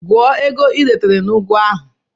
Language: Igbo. Gụọ ego i retara na ugu ahụ!